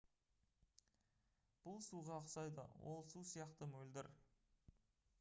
бұл суға ұқсайды ол су сияқты мөлдір